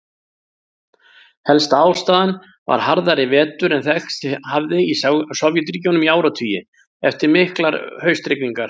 Helsta ástæðan var harðari vetur en þekkst hafði í Sovétríkjunum í áratugi, eftir miklar haustrigningar.